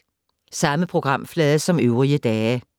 Samme programflade som øvrige dage